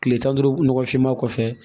Tile tan ni duuru nɔgɔfinma kɔfɛ